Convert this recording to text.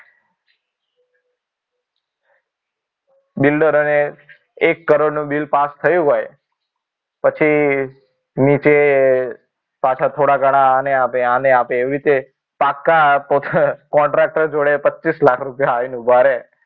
બિલ્ડરોને એક કરોડ નું bill pass થયું હોય. પછી નીચે પાછા થોડા ઘણા ને આને આપે. પાક્કા contractor જોડે પચ્ચીસ લાખ રૂપિયા આઈને ઊભા રહે.